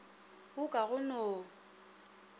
wo ka go no o